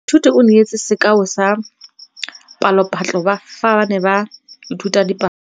Moithuti o neetse sekaô sa palophatlo fa ba ne ba ithuta dipalo.